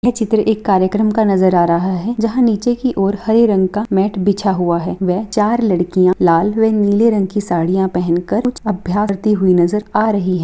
यह चित्र एक कार्यक्रम का नजर आ रहा है जहाँ नीचे की ओर हरे रंग का मैट बिछा हुआ है व चार लड़कियां लाल व नीले रंग की साड़ियां पहनकर कुछ अभ्यास करती हुई नजर आ रही है।